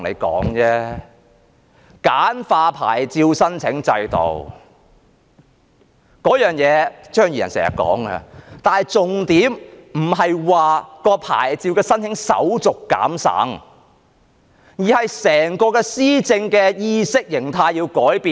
簡化牌照申請制度，這一點張宇人議員經常掛在嘴邊，但重點不是減省牌照申請手續，而是改變整個施政的意識形態。